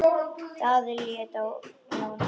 Daði leit á Jón Arason.